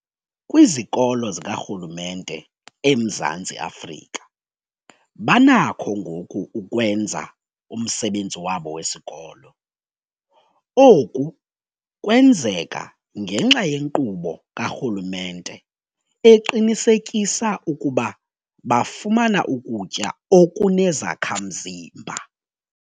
Kwizikolo zikarhulumente eMzantsi Afrika banakho ngoku ukwenza umsebenzi wabo wesikolo. Oku kwenzeka ngenxa yenkqubo karhulumente eqinisekisa ukuba bafumana ukutya okunezakha-mzimba.